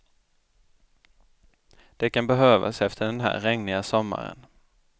Det kan behövas efter den här regniga sommaren.